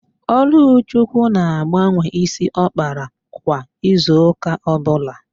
Ọlụchukwu na-agbanwe ísí ọ kpara kwa izuụ́kà ọbụla.